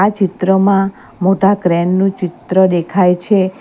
ચિત્રમાં મોટા ક્રેન નું ચિત્ર દેખાય છે.